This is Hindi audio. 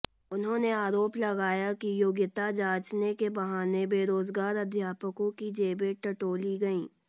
उन्होंने आरोप लगाया कि योग्यता जांचने के बहाने बेरोजगार अध्यापकों की जेबें टटोली गईं